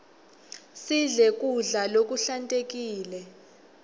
sidle kudla lokuhlantekile